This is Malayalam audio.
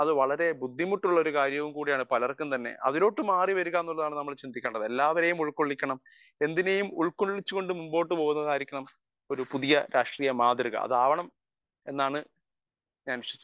സ്പീക്കർ 1 വളരെ ബുദ്ധിമുട്ടും കൂടി ഉള്ള ഒരു കാര്യം കൂടി ആണ് പലർക്കും തന്നെ അതിലൊട്ടു മാറിവരിക എന്നുള്ളതാണ് നമ്മൾ ചിന്തിക്കേണ്ടത് എല്ലവരെയും ഉൾക്കൊള്ളിക്കണം എന്തിനെയും ഉൾക്കൊള്ളിച്ചുകൊണ്ട് മുന്നോട്ട്പോവുന്നതായിരിക്കണം ഒരു പുതിയ രാഷ്ട്രീയ മാതൃക അതാവണം എന്നാണ് ഞാൻ വിശ്വസിക്കുന്നത്